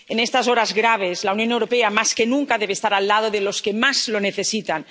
En estas horas graves, la Unión Europea, más que nunca, debe estar al lado de los que más lo necesitan.